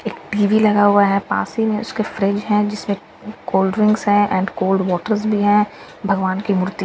एक टी_वी लगा हुआ है पासी में उसके फ्रिज है जिसमें कोल्ड ड्रिंक्स है एंड कोल्ड वाटर्स भी है भगवान की मूर्ति--